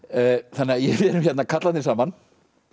þannig að við erum hérna karlarnir saman